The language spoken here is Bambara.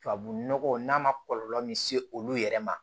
Tubabu nɔgɔ n'a ma kɔlɔlɔ min se olu yɛrɛ ma